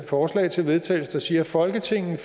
forslag til vedtagelse der siger at folketinget